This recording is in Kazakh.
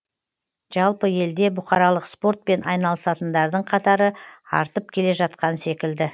жалпы елде бұқаралық спортпен айналысатындардың қатары артып келе жатқан секілді